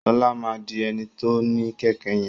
Ṣọlá má dì eni to ní kẹkẹ yẹn